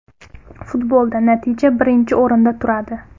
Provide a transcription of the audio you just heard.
Futbolda natija birinchi o‘rinda turadi.